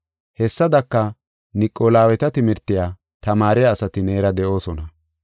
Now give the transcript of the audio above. Hessadaka, Niqolaweeta timirtiya tamaariya asati neera de7oosona.